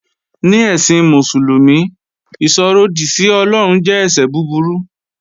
Ní ẹ̀sìn Mùsùlùmí, ìsọ̀ròdì sí Ọlọ́run jẹ́ ẹ̀ṣẹ̀ búburú